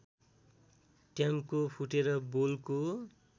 टयाम्को फुटेर बोलको